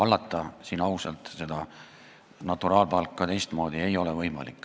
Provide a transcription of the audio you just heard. Seda naturaalpalka ei ole võimalik teistmoodi ausalt hallata.